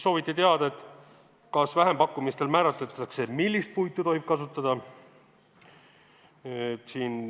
Sooviti teada, kas vähempakkumistel määratakse kindlaks, millist puitu tohib kasutada.